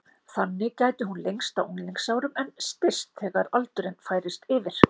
Þannig gæti hún lengst á unglingsárum en styst þegar aldurinn færist yfir.